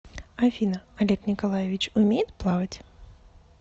афина олег николаевич умеет плавать